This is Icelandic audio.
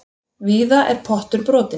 Víða er pottur brotinn.